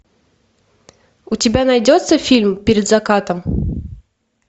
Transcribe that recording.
у тебя найдется фильм перед закатом